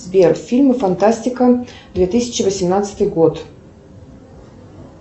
сбер фильмы фантастика две тысячи восемнадцатый год